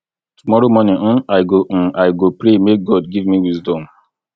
tomorrow morning um i go um i go pray make god give me wisdom